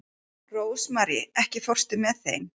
Rósmarý, ekki fórstu með þeim?